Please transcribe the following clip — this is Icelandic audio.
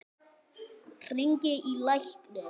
Hringi í lækni.